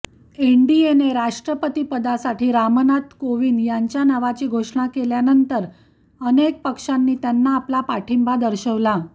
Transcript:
एनडीएने राष्ट्रपतीपदासाठी रामनाथ कोविंद यांच्य़ा नावाची घोषणा केल्यानंतर अनेक पक्षांनी त्यांना आपला पाठिंबा दर्शवला